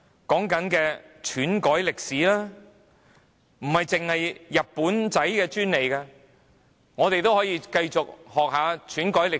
說的是篡改歷史，這不單是日本人的專利，我們也可以繼續學習篡改歷史。